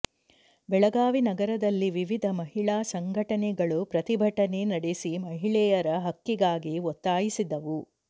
ಬೆಳಗಾವಿ ನಗರದಲ್ಲಿ ವಿವಿಧ ಮಹಿಳಾ ಸಂಘಟನೆಗಳು ಪ್ರತಿಭಟನೆ ನಡೆಸಿ ಮಹಿಳೆಯರ ಹಕ್ಕಿಗಾಗಿ ಒತ್ತಾಯಿಸಿದವು